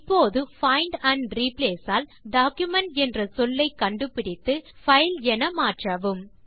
இப்போது find and replace all document என்ற சொல்லை கண்டுபிடித்து பைல் என மாற்றவும்